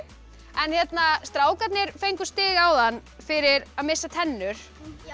en strákarnir fengu stig áðan fyrir að missa tennur